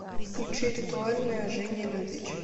включи ритуальная жени любич